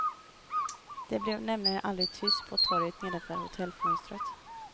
Det blev nämligen aldrig tyst på torget nedanför hotellfönstret.